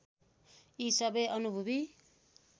यी सबै अनुभवी